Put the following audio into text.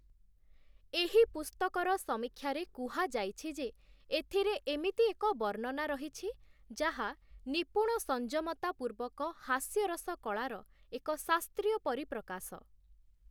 ଏହି ପୁସ୍ତକର ସମୀକ୍ଷାରେ କୁହାଯାଇଛି ଯେ, ଏଥିରେ ଏମିତି ଏକ ବର୍ଣ୍ଣନା ରହିଛି, ଯାହା ନିପୁଣ ସଂଯମତା ପୂର୍ବକ ହାସ୍ୟରସ କଳାର ଏକ ଶାସ୍ତ୍ରୀୟ ପରିପ୍ରକାଶ ।